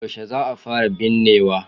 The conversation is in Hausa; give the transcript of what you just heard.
Yaushe za a fara binnewa.